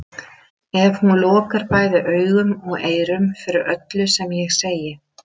En hún lokar bæði augum og eyrum fyrir öllu sem ég segi.